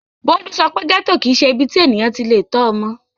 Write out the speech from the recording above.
Bólú sọ pé gẹ́tò kì í ṣe ibi tí ènìyàn ti le tọ́ ọmọ.